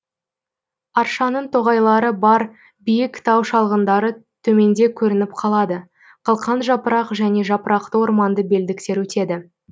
аршаның тоғайлары бар биік тау шалғындары төменде көрініп қалады қылқан жапырақ және жапырақты орманды белдіктер өтеді